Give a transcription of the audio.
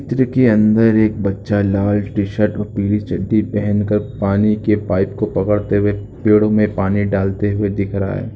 चित्र के अंदर एक बच्चा लाल टी शर्ट और पिली चड्डी पहनकर पानी के पाइप को पकड़ते हुए पेड़ो में पानी डालते हुए दिख रहा है।